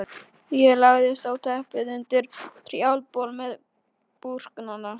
Um haustið hóf ég svo uppbyggingarstarfið fyrir alvöru.